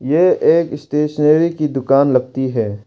यह एक स्टेशनरी की दुकान लगती है।